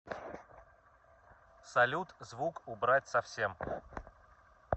салют звук убрать совсем